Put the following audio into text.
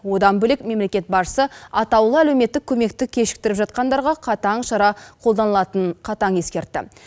одан бөлек мемлекет басшысы атаулы әлеуметтік көмекті кешіктіріп жатқандарға қатаң шара қолданылатынын қатаң ескертті